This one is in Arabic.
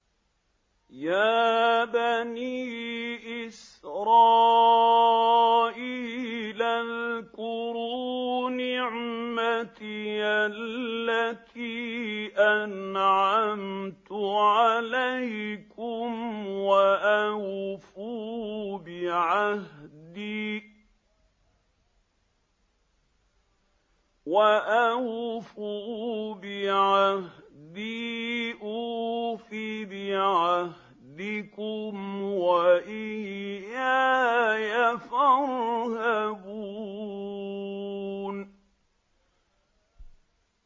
يَا بَنِي إِسْرَائِيلَ اذْكُرُوا نِعْمَتِيَ الَّتِي أَنْعَمْتُ عَلَيْكُمْ وَأَوْفُوا بِعَهْدِي أُوفِ بِعَهْدِكُمْ وَإِيَّايَ فَارْهَبُونِ